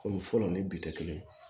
Kɔmi fɔlɔ ni bi tɛ kelen ye